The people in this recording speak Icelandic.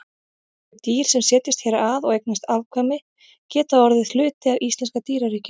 Þau dýr sem setjast hér að og eignast afkvæmi geta orðið hluti af íslenska dýraríkinu.